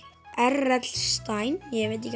r l stein ég veit ekki